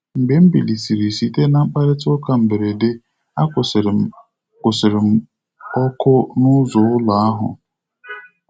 Mgbe m biliri site na mkparịta ụka mberede, a kwụsịrị m kwụsịrị m ọkụ n'ụzọ ụlọ ahụ.